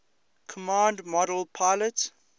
command module pilot